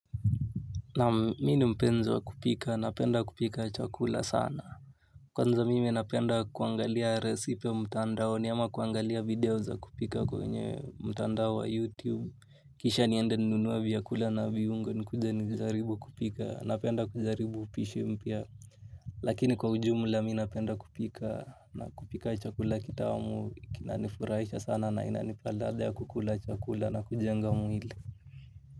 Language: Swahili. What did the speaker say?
Naam mimi ni mpenzi wa kupika napenda kupika chakula sana. Kwanza mimi napenda kuangalia resipe mtandaoni ama kuangalia video za kupika kwenye mtandao wa youtube. Kisha niende ninunue vyakula na viungo nikuje nijaribu kupika napenda kujaribu upishi mpya. Lakini kwa ujumla mimi napenda kupika na kupika chakula kitamu kinanifurahisha sana na inanipa ladha ya kukula chakula na kujenga mwili.